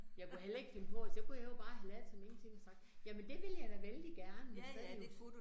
Jeg kunne heller ikke finde på, så kunne jeg jo bare have ladet som ingenting og sagt jamen det vil jeg da vældig gerne, men så det jo